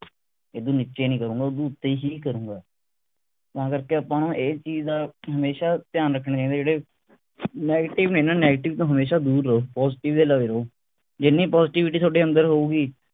ਏਦੂੰ ਨੀਚੇ ਨਹੀਂ ਕਰੂੰਗਾ ਏਦੂੰ ਉੱਤੇ ਹੀ ਕਰੂੰਗਾ ਤਾਂ ਕਰਕੇ ਆਪਾਂ ਨੂੰ ਇਸ ਚੀਜ ਦਾ ਹਮੇਸ਼ਾ ਰੱਖਣਾ ਜਿਹੜੇ negative ਨੇ ਨਾ negative ਤੋਂ ਹਮੇਸ਼ਾ ਦੂਰ ਰਹੋ positive ਦੇ ਲਾਗੇ ਰਹੋ ਜਿੰਨੀ positivity ਥੋਡੇ ਅੰਦਰ ਹੋਊਗੀ